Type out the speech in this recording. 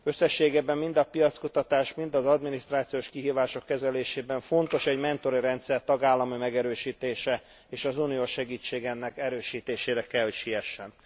Összességében mind a piackutatás, mind az adminisztrációs kihívások kezelésében fontos egy mentori rendszer tagállami megerősítése és az uniós segítség ennek erősítésére kell, hogy siessen.